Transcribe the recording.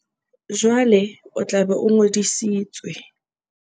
Jwale o tla be o ngodisitswe.